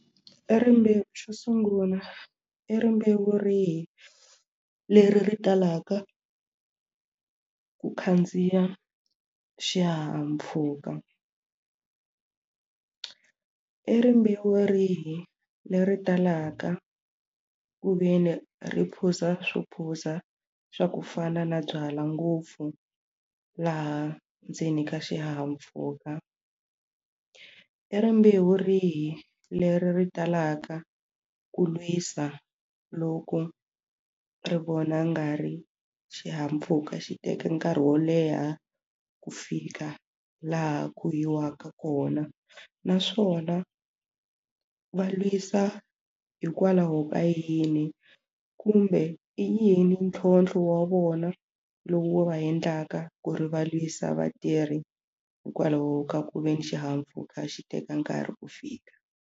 I rimbewu xo sungula i rimbewu rihi leri ri talaka ku khandziya xihahampfhuka i rimbewu rihi leri talaka ku ve ni ri phuza swo phuza swa ku fana na byalwa ngopfu laha ndzeni ka xihahampfhuka i rimbewu rihi leri ri talaka ku lwisa loko ri vona nga ri xihahampfhuka xi teka nkarhi wo leha ku fika laha ku yiwaka kona naswona va lwisa hikwalaho ka yini kumbe i yini ntlhontlho wa vona lowu wo va endlaka ku ri va lwisa vatirhi hikwalaho ka ku veni xihahampfhuka xi teka nkarhi ku fika.